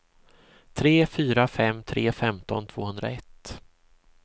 tre fyra fem tre femton tvåhundraett